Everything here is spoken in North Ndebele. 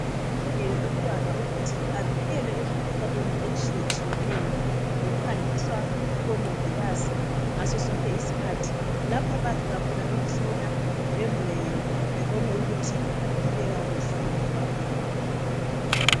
Yilungelo lomntwana ukuthi avikelwe emkhuhlaneni etshiyetshiyeneyo ngokuhanjiswa kubomongikazi ngadosonke isikhathi lapho abayafika khona bemhlola bemhweye bebone ukuthi uphile kakuhle umntwana.